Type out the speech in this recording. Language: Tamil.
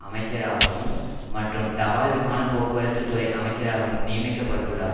அமைச்சராகவும் மற்றும் தபால் விமான போக்குவரத்து துறை அமைச்சராகவும் நியமிக்க பட்டுள்ளார்